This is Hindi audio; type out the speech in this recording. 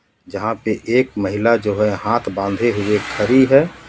जहां पे एक महिला जो है हाथ बंधे हुए खड़ी है.